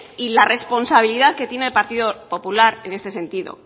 y la responsabilidad que tiene el partido popular en este sentido